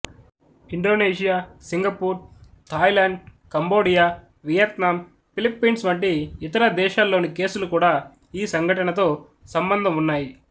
Indonesia Singapore Thailand Cambodia Vietnam Philippines వంటి ఇతర దేశాల్లోని కేసులు కూడా ఈ సంఘటనతో స్ంబ్ంధం ఉన్నాయి